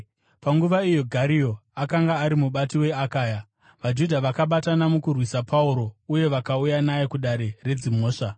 Panguva iyo Gario akanga ari mubati weAkaya, vaJudha vakabatana mukurwisa Pauro uye vakauya naye kudare redzimhosva.